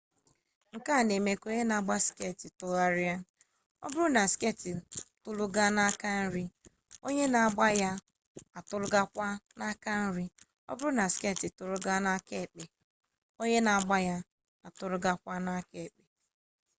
nke a na-eme ka onye na-agba skeeti tụgharịa ọ bụrụ na skeeti atụlaga n'aka nri onye na-agba ya atụlagakwa n'aka nri ọ bụrụ na skeeti atụlaga n'aka ekpe onye na-agba ya atụlagakwa n'aka ekpe